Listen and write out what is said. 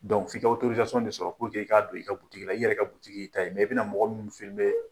Donc f'i ka autorisation de sɔrɔ pourpue i k'a don i ka butigila i yɛrɛ ka butigi i ta ye mais i bɛna na mɔgɔ minnu filmé